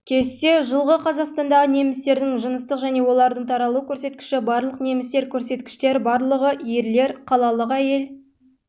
кесте жылғы қазақстандағы немістердің жыныстық және олардың таралу көрсеткіші барлық немістер көрсеткіштер барлығы ерлер қалалық әйел